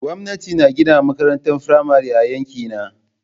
Gwamnati na gina makarantar firamare a yankina.